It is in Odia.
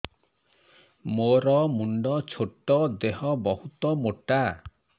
ମୋର ମୁଣ୍ଡ ଛୋଟ ଦେହ ବହୁତ ମୋଟା